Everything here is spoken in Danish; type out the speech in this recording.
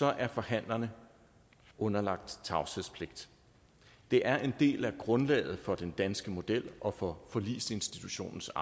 er forhandlerne underlagt tavshedspligt det er en del af grundlaget for den danske model og for forligsinstitutionens